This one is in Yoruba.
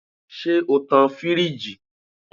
Ṣe o tan-an firiji?